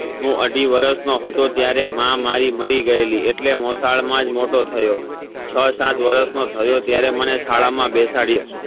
હું અઢી વરસ નો હતો ત્યારે માં મારી મરી ગયેલી એટલે મોસાળ માજ મોટો થયો છ સાત વરસ નો થયો ત્યારે મને શાળા મા બેસાડયો